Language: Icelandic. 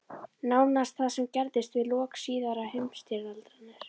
Nánast það sama gerðist við lok síðari heimsstyrjaldarinnar.